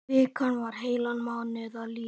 Vikan var heilan mánuð að líða.